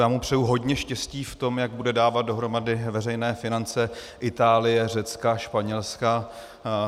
Já mu přeji hodně štěstí v tom, jak bude dávat dohromady veřejné finance Itálie, Řecka, Španělska.